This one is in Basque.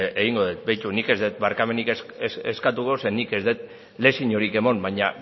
egingo dut begiratu nik ez dut barkamenik eskatuko zeren eta nik ez dut leziorik eman baina